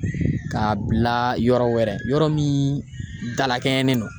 K'a bila yɔrɔ wɛrɛ min dalakɛɲɛlen don.